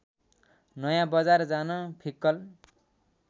नयाँबजार जान फिक्कल